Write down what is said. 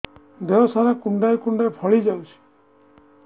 ଦେହ ସାରା କୁଣ୍ଡାଇ କୁଣ୍ଡାଇ ଫଳି ଯାଉଛି